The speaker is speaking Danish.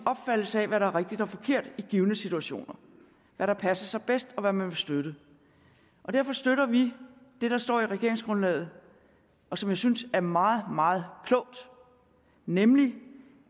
opfattelse af hvad der er rigtigt og forkert i givne situationer hvad der passer sig bedst og hvad man vil støtte derfor støtter vi det der står i regeringsgrundlaget og som jeg synes er meget meget klogt nemlig